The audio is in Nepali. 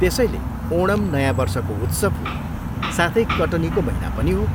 त्यसैले ओणम नयाँ वर्षको उत्सव हो, साथै कटनीको महिना पनि हो।